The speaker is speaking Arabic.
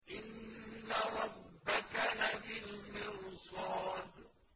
إِنَّ رَبَّكَ لَبِالْمِرْصَادِ